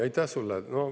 Aitäh sull!